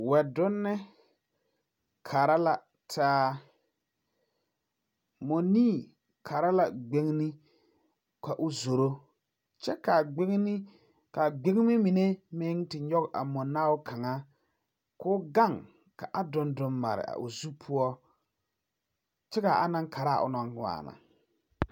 Wɛdonni kara la taa, moɔnii Kara la gbeŋni ka o zoro kyɛ ka a gbeŋme mine meŋ te nyɔŋ a moɔnaao kaŋa ka o gaŋ kaa doŋdoŋ mare o zo poɔ kyɛ kaa anaŋ Kara a onɔŋ waana.